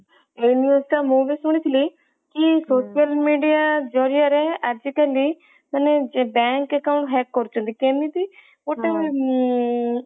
ଏଇ news ଟା ମୁଁ ବି ଶୁଣିଥିଲି କି social media ଜରିଆରେ ଆଜି କାଲି ଯେ bank account hack କରୁଛନ୍ତି କେମିତି ଗୋଟେ